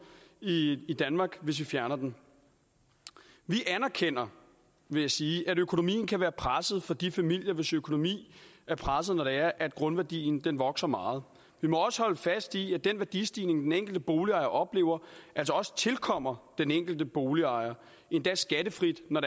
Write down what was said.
i i danmark hvis vi fjerner den vi anerkender vil jeg sige at økonomien kan være presset for de familier hvis økonomi er presset når det er at grundværdien vokser meget vi må også holde fast i at den værdistigning den enkelte boligejer oplever altså også tilkommer den enkelte boligejer endda skattefrit når